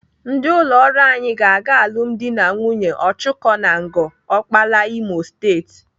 Ndị ụlọ ọrụ anyị ga-aga alụmdi na nwunye Ọchụko na Ngor Okpala, Imo State.